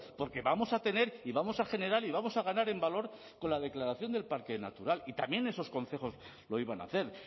porque vamos a tener y vamos a generar y vamos a ganar en valor con la declaración del parque natural y también esos concejos lo iban a hacer